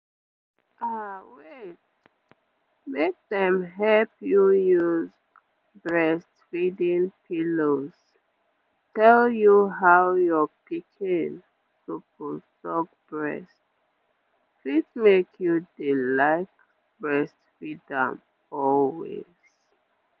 ah wait make dem help you use breastfeeding pillows tell you how your pikin suppose suck breast fit make you dey like breastfeed am always